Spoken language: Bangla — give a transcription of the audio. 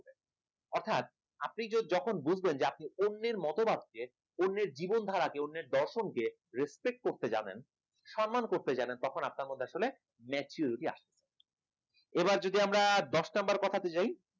অর্থাৎ আপনি যদি যখন বুঝবেন যে আপনি অন্যের মতবাদ কে অন্যের জীবনধারাকে অন্যের দর্শনকে respect করতে জানেন সম্মান করতে জানেন তখন আপনার মধ্যে আসলে maturity আছে এবার যদি আমরা দশ number কথাতে যাই